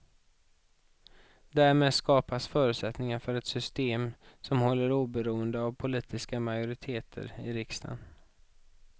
Därmed skapas förutsättningar för ett system som håller oberoende av politiska majoriteter i riksdagen.